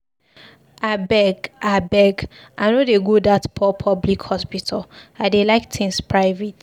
Abeg, abeg, I no dey go dat poor public hospital, I dey like things private.